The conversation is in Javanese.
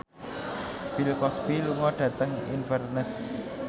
Bill Cosby lunga dhateng Inverness